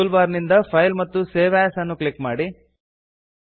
tool ಬಾರ್ ನಿಂದ file ಮತ್ತು ಸೇವ್ ಎಎಸ್ ಅನ್ನು ಕ್ಲಿಕ್ ಮಾಡಿ